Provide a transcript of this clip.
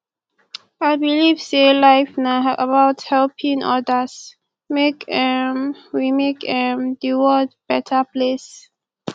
i believe sey life na about helping odas make um we make um di world beta place